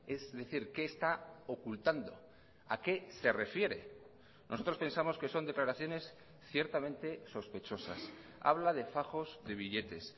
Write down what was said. es decir qué está ocultando a qué se refiere nosotros pensamos que son declaraciones ciertamente sospechosas habla de fajos de billetes